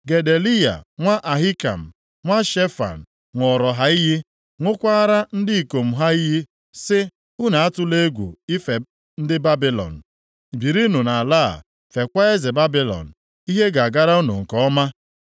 Gedaliya nwa Ahikam, nwa Shefan, ṅụọrọ ha iyi, ṅụkwaara ndị ikom ha iyi, sị, “Unu atụla egwu ife ndị Babilọn: + 40:9 Ya bụ, Kaldịa birinụ nʼala a, feekwa eze Babilọn, ihe ga-agara unu nke ọma.